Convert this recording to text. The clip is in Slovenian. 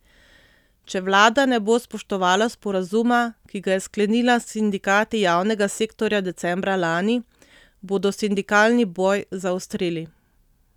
Če vlada ne bo spoštovala sporazuma, ki ga je sklenila s sindikati javnega sektorja decembra lani, bodo sindikalni boj zaostrili.